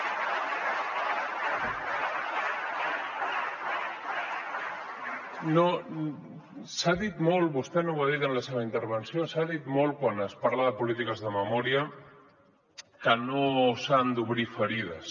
s’ha dit molt vostè no ho ha dit en la seva intervenció quan es parla de polítiques de memòria que no s’han d’obrir ferides